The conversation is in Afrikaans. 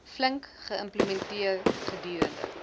flink geïmplementeer gedurende